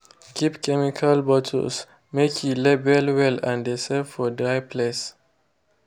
keep chemical bottles make e labeled well and de save for dry place.